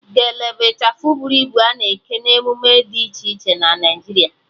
Gele bụ ịchafụ bụrụ ibu a na-eke na emume dị iche iche na Naịjiria